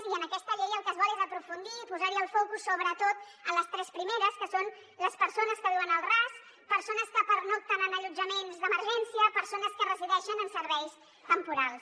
i en aquesta llei el que es vol és aprofundir i posar el focus sobretot en les tres primeres que són les persones que viuen al ras persones que pernocten en allotjaments d’emergència i persones que resideixen en serveis temporals